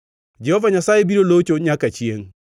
Jehova Nyasaye biro locho nyaka chiengʼ.”